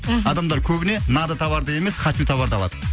мхм адамдар көбіне надо товарды емес хочу товарды алады